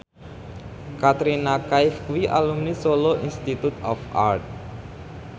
Katrina Kaif kuwi alumni Solo Institute of Art